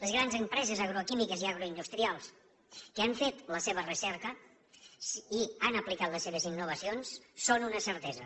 les grans empreses agroquímiques i agroindustrials que han fet la seva recerca i han aplicat les seves innovacions són una certesa